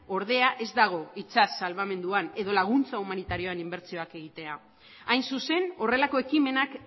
ordea ez dago itsas salbamenduan edo laguntza humanitarioan inbertsioak egitea hain zuzen horrelako ekimenak